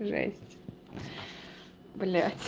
жесть блядь